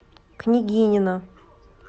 княгинино